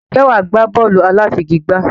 Ǹjẹ́ wà á gbá bọ́ọ̀lù aláfigigbá?